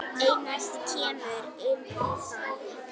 Einelti kemur inn í það.